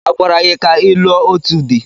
A gwara gị ka ị lụọ òtù di?